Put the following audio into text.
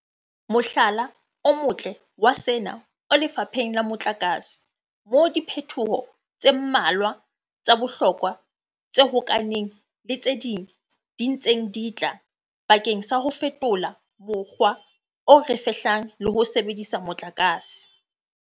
Mohlala o motle wa sena o lefapheng la motlakase moo diphetoho tse mmalwa tsa bohlokwa tse hokahaneng le tse ding di ntseng di tla bakeng sa ho fetola mokgwa o re fehlang le ho sebedisa motlakase.